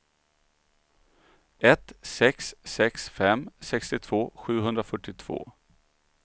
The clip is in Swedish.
ett sex sex fem sextiotvå sjuhundrafyrtiotvå